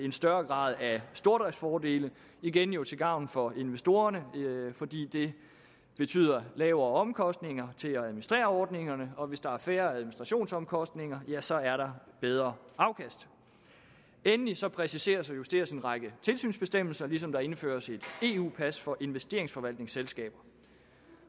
en større grad af stordriftsfordele igen jo til gavn for investorerne fordi det betyder lavere omkostninger til at administrere ordningerne og hvis der er færre administrationsomkostninger ja så er der bedre afkast endelige præciseres og justeres en række tilsynsbestemmelser ligesom der indføres et eu pas for investeringsforvaltningsselskaber